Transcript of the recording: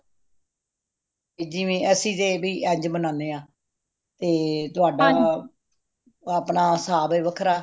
ਜਿਵੇਂ ਅਸੀਂ ਜੇ ਭਈ ਇੰਜ ਬਣਾਨੇ ਹਾਂ ਤੇ ਤੁਹਾਡਾ ਅਪਣਾ ਹੈ ਵੱਖਰਾ